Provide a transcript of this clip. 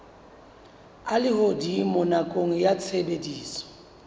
a lehodimo nakong ya tshebediso